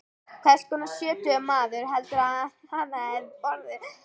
Hvers konar sjötugur maður heldurðu að hann hefði orðið?